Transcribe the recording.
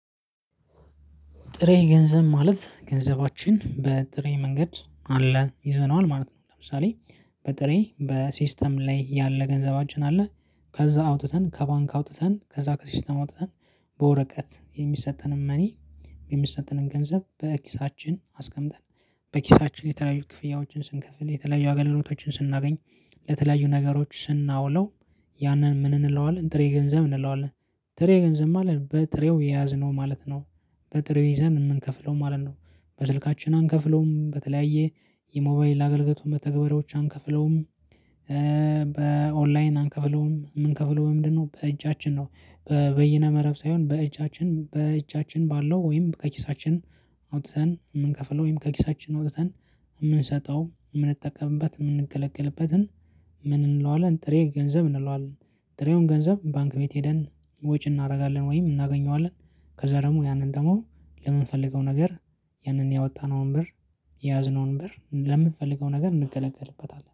ጥሬ ገንዘብ ማለት ገንዘባችን በጥሬ መንገድ አለ ይዘነዋል ማለት ነው። ለምሳሌ በጥሬ በሲስተም ላይ ያለ ገንዘባችን አለ ከዛ አውጥተን ከባንክ አውጥተን ከዛ ከሲስተም አውጥተን በወረቀት የሚሰጠንን መኒ የሚሰጠንን ገንዘብ በኪሳችን አስቀምጠን በኪሳችን የተለያዩ ክፍያዎችን ስንከፍል የተለያዩ አገልግሎቶችን ስናገኝ ለተለያዩ ነገሮች ስናውለው ያንን ምን እንለዋለን ጥሬ ገንዘብ እንለዋለን ጥሬ ገንዘብ ማለት በጥሬው የያዝነው ማለት ነው። በጥሬው ይዘን የምንከፍለው ማለት ነው በስልካችን አንከፍለውም በተለያየ የሞባይል አገልግሎት መተግበሪያዎች አንከፍለውም። በኦንላይን አንከፍለውም የምንከፍለው በምንድን ነው? በእጃችን ነው። በይነ መረብ ሳይሆን በእጃችን በእጃችን ባለው ወይም ከኪሳችን አውጥተን የምንከፍለው ወይም ከኪሳችን አውጥተን የምንሰጠው የምንጠቀምበት የምንገለገልበትን ምን እንለዋለን ጥሬ ገንዘብ እንለዋለን? ጥሬውን ገንዘብ ባንክ ቤት ሄደን ወጪ እናደርጋለን ወይም እናገኘዋለን ከዛ ደግሞ ያንን ደግሞ ለምንፈልገው ነገር ያንን ያወጣነውን ብር የያዝነውን ብር ለምንፈልገው ነገር እንገለገልበታለን